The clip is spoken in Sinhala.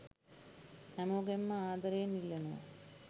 හැමෝගෙන්ම ආදරයෙන් ඉල්ලනව.